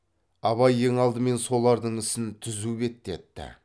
абай ең алдымен солардың ісін түзу беттепті